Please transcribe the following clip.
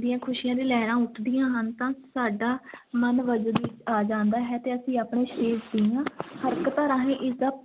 ਦੀਆਂ ਖ਼ੁਸ਼ੀਆਂ ਦੀਆਂ ਲਹਿਰਾਂ ਉੱਠਦੀਆਂ ਹਨ ਤਾਂ ਸਾਡਾ ਮਨ ਵਜਦ ਆ ਜਾਂਦਾ ਹੈ ਤੇ ਅਸੀਂ ਆਪਣੇ ਸਰੀਰ ਦੀਆਂ ਹਰਕਤਾਂ ਰਾਹੀਂ ਇਸ ਦਾ